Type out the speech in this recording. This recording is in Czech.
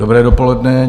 Dobré dopoledne.